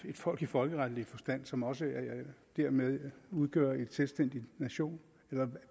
folk i folkeretlig forstand som også dermed udgør en selvstændig nation eller